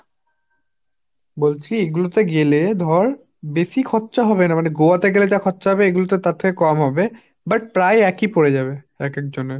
বলছি এগুলো তে গেলে ধর বেশি খরচা হবে না মানে গোয়া তে গেলে যা খরচা হবে এগুলোতে তার থেকে কম হবে, but প্রায় একই পরে যাবে এক এক জনের।